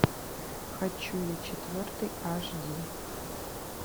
хочу я четвертый аш ди